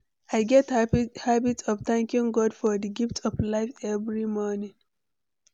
I get habit of thanking God for di gift of life every morning.